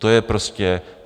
To je prostě fakt.